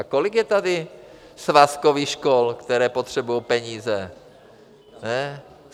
A kolik je tady svazkových škol, které potřebují peníze?